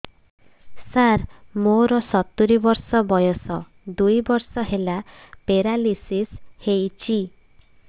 ସାର ମୋର ସତୂରୀ ବର୍ଷ ବୟସ ଦୁଇ ବର୍ଷ ହେଲା ପେରାଲିଶିଶ ହେଇଚି